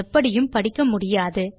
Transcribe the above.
எப்படியும் படிக்க முடியாது